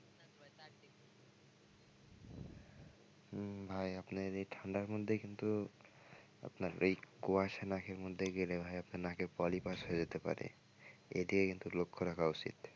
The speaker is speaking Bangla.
হম ভাই আপনি এই ঠান্ডার মধ্যে কিন্তু আপনার এই কুয়াশা নাকের মধ্যে গেলে ভাই আপনার নাকের পলিপাস হয়ে যেতে পারে এদিকে কিন্তু লক্ষ্য রাখা উচিত।